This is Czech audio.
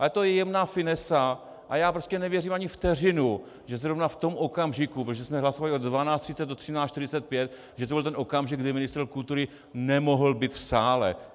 Ale to je jemná finesa a já prostě nevěřím ani vteřinu, že zrovna v tom okamžiku, protože jsme hlasovali od 12.30 do 13.45, že to byl ten okamžik, kdy ministr kultury nemohl být v sále.